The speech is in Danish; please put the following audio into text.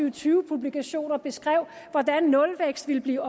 og tyve publikationer beskrev hvordan nulvækst ville blive